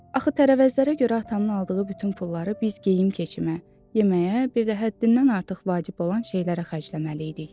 Axı tərəvəzlərə görə atamın aldığı bütün pulları biz geyim-keçimə, yeməyə, bir də həddindən artıq vacib olan şeylərə xərcləməli idik.